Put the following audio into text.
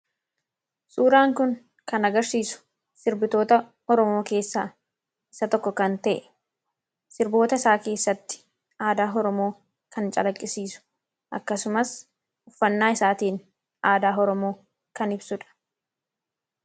Suuraan kun kan agarsiisu sirbitoota Oromoo keessaa isa tokko kan ta'e, sirboota isaa keessatti aadaa Oromoo kan calaqqisiisu akkasumas uffannaa isaatiin aadaa Oromoo kan ibsudha.